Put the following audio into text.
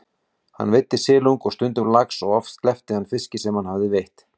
Hann veiddi silung og stundum lax og oft sleppti hann fiski sem hann hafði veitt.